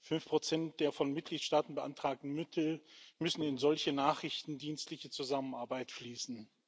Fünf Prozent der von Mitgliedstaaten beantragten Mittel müssen in solche nachrichtendienstliche Zusammenarbeit fließen.